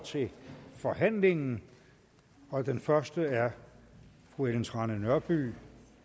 til forhandlingen og den første er fru ellen trane nørby